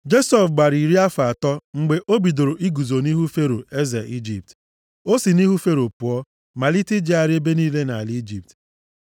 Josef gbara iri afọ atọ mgbe o bidoro iguzo nʼihu Fero eze Ijipt. O si nʼihu Fero pụọ, malite ijegharị ebe niile nʼala Ijipt.